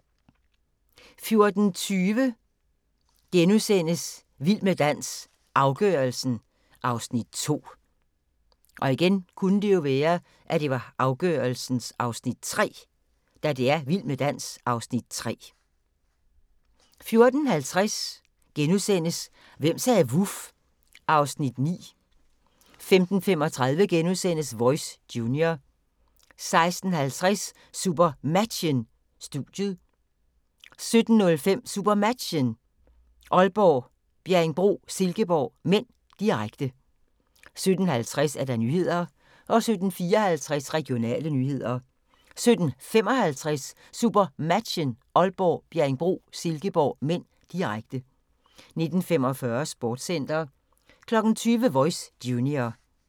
14:20: Vild med dans – afgørelsen (Afs. 2)* 14:50: Hvem sagde vuf? (Afs. 9)* 15:35: Voice Junior * 16:50: SuperMatchen: Studiet 17:05: SuperMatchen: Aalborg - Bjerringbro-Silkeborg (m), direkte 17:50: Nyhederne 17:54: Regionale nyheder 17:55: SuperMatchen: Aalborg - Bjerringbro-Silkeborg (m), direkte 19:45: Sportscenter 20:00: Voice Junior